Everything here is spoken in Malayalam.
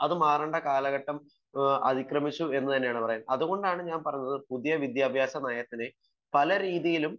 അത് മാറേണ്ട കാലഘട്ടം അതിക്രമിച്ചു എന്നാണ് പറയുന്നത് അതുകൊണ്ടാണ് ഞാൻ പറയുന്നത് പുതിയവിദ്യാഭ്യാസ നയത്തിനെ പലരീതിയിലും